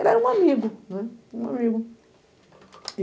Ele era um amigo, né, um amigo.